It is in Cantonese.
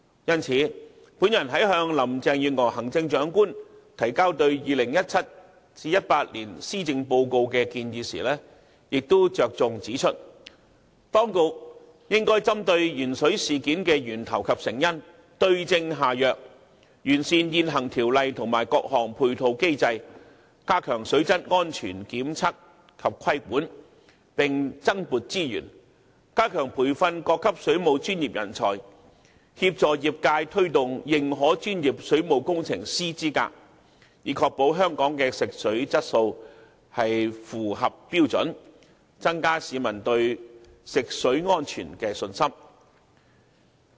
因此，我在向行政長官林鄭月娥女士提交就 2017-2018 年度施政報告所作建議時亦重點指出，當局應針對鉛水事件的源頭及成因，對症下藥，完善現行條例及各項配套機制，以加強水質安全檢測及規管，並增撥資源，加強培訓各級水務專業人才，協助業界推動認可專業水務工程師資格，以確保香港的食水質素符合標準，增加市民對食水安全的信心。